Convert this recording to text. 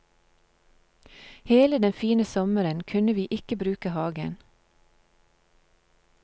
Hele den fine sommeren kunne vi ikke bruke hagen.